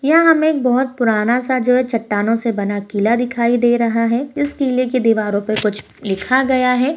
यह हमे एक बहुत पुराना सा जो है चट्टानों से बना किला दिखाई दे रहा है इस किले की दीवारों पे कुछ लिखा गया है।